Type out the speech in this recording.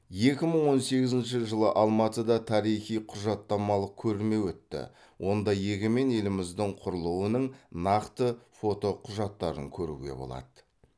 екі мың он сегізінші жылы алматыда тарихи құжаттамалық көрме өтті онда егемен еліміздің құрылуының нақты фотоқұжаттарын көруге болады